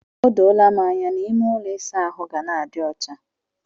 O doola m anya na ime ụlọ ịsa ahụ ga na-adi ọcha.